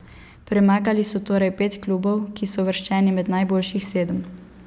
Premagali so torej pet klubov, ki so uvrščeni med najboljših sedem.